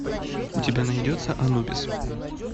у тебя найдется анубис